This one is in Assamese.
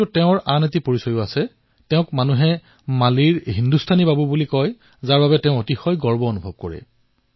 কিন্তু তেওঁৰ আন এটা পৰিচয় আছে মানুহে তেওঁ মালীৰ হিন্দুস্তানৰ বাবু বুলি কয় আৰু তেওঁ গৰ্ব অনুভৱ কৰে